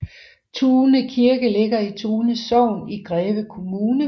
Tune Kirke ligger i Tune Sogn i Greve Kommune